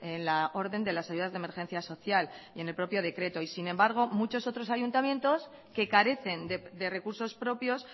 en la orden de las ayudas de emergencia social y en el propio decreto y sin embargo muchos otros ayuntamientos que carecen de recursos propios